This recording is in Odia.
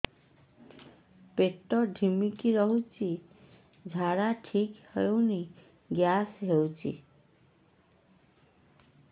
ପେଟ ଢିମିକି ରହୁଛି ଝାଡା ଠିକ୍ ହଉନି ଗ୍ୟାସ ହଉଚି